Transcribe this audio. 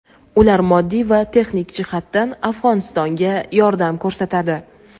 Ular moddiy va texnik jihatdan Afg‘onistonga yordam ko‘rsatadi.